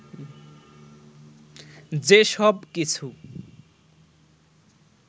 যে সব কিছু